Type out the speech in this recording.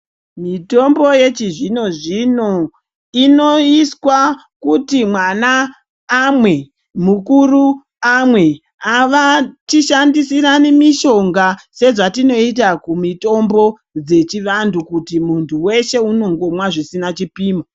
Mitombo yechizvinozvino inoiswa kuti mwana amwe , mukuru amwe .Avatishandisirani mishonga sezvatinoita kumitombo dzechivantu kuti muntu weshe unongomwa zvisina chipimo .